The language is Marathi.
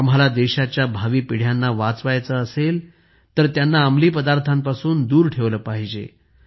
आम्हांला देशाच्या भावी पिढ्यांना वाचवायचे असेल तर त्यांना अंमली पदार्थांपासून दूर ठेवले पाहिजे